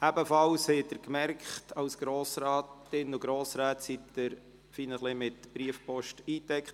Auch wurden Sie seitens der Gemeinden ziemlich massiv mit Briefpost eingedeckt.